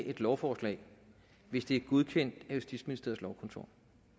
et lovforslag hvis det er godkendt af justitsministeriets lovkontor